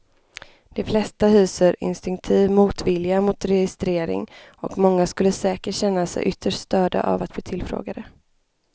De flesta hyser instinktiv motvilja mot registrering och många skulle säkert känna sig ytterst störda av att bli tillfrågade.